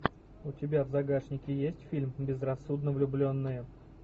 у тебя в загашнике есть фильм безрассудно влюбленные